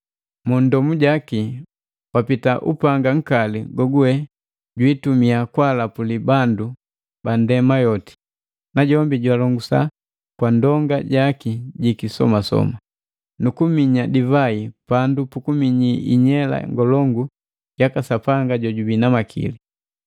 Mundomu jaki wapita upanga nkali goguwe jwiitumiya kwa lapuli bandu bandema yoti. Najombi jwaalongusa kwa ndonga jaki jiki somasoma. Nukuminya divai pandu puku kuminyi inyela ngolongu yaka Sapanga Jojubii na Makili.